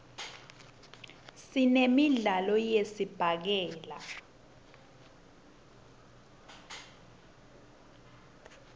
sinemidlo yesibhakela